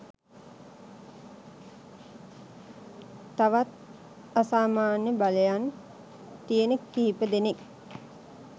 තවත් අසාමාන්‍ය බලයන් තියෙන කිහිප දෙනෙක්